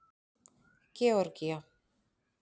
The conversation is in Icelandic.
Georgía